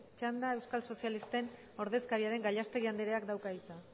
txanda euskal sozialisten ordezkaria den gallastegui andreak dauka hitza